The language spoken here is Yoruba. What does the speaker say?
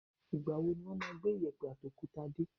Ìgbàwo wọn máa gbé iyẹ̀pẹ̀ àti òkúta dé?